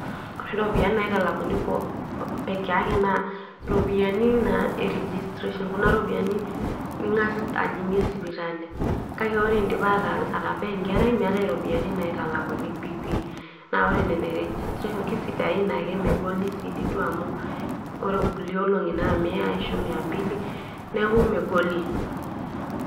ore iropiyiani naitalakuni pekeyake naa iropiyiani naa e registration kuna ropiyiani ning'as ajing'ie sipitali kake ore indipa atabaa enkerai meetae iropiyiani naitalakuni piipi naaore nena e registration kisidain ake megoli sii dii duo amu ore inkulie olong'i naa miya ashu miya mbili neeku megoli.